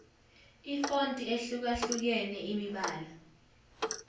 ifonti ehlukahlukene imibala